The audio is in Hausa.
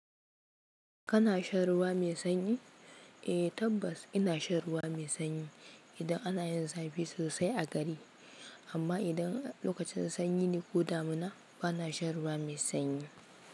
Kana shan ruwa mai sanyi? Eh tabbas ina shan ruwa mai sanyi idan ana yin zafi sosai a gari. Amma idan lokacin sanyi ne ko damuna ba na shan ruwa mai sanyi.